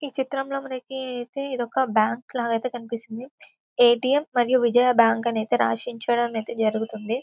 ఈ చిత్రం లో మనకి ఐతే ఇది ఒక బ్యాంక్ లాగ ఐతే కనిపిస్తుంది ఏ.టి.ఎం. మరియు విజయ బ్యాంక్ అనైతే రాసి ఉంచడం అనేది జరుగుతుంది.